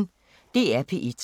DR P1